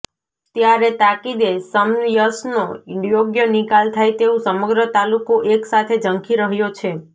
ત્યારે તાકીદે સમસયનો યોગ્ય નિકાલ થાય તેવું સમગ્ર તાલુકો એક સાથે ઝંખી રહ્યો છે